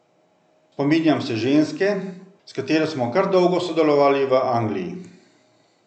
Spominjam se ženske, s katero smo kar dolgo sodelovali v Angliji.